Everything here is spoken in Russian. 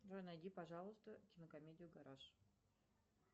джой найди пожалуйста кинокомедию гараж